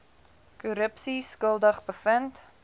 korrupsie skuldig bevind